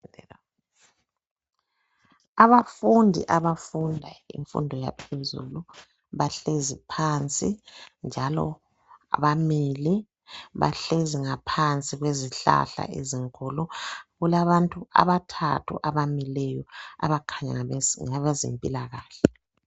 Abafundi abafuna imfundo yaphezulu bahlezi phansi njalo bamile. bahlezi ngaphansi kwezihlahla ezinkulu .Kulabantu abathathu abamileyo abakhanya ngabezempilakahle.